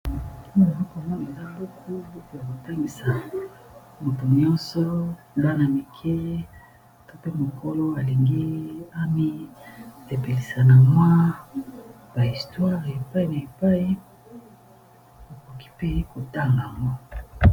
Awa nazakomona eza buku bokea kotangisa moto nyonso dana mike to pe mokolo alingi ami epelisa na mwa bahistware epai na epai okoki pe kotanga ama